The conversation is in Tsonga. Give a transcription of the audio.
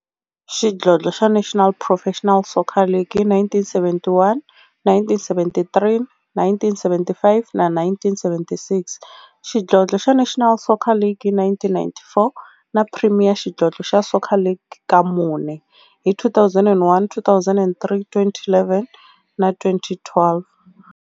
Xidlodlo xa National Professional Soccer League hi 1971, 1973, 1975 na 1976, xidlodlo xa National Soccer League hi 1994, na Premier Xidlodlo xa Soccer League ka mune, hi 2001, 2003, 2011 na 2012.